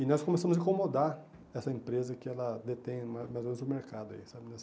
E nós começamos a incomodar essa empresa que ela detém mais ou menos o mercado nessa área.